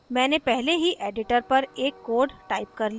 मैंने पहले ही editor पर एक code टाइप कर लिया है